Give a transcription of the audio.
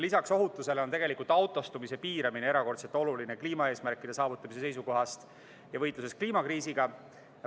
Lisaks ohutusele on autostumise piiramine erakordselt oluline kliimaeesmärkide saavutamise seisukohast ja võitluses kliimakriisiga.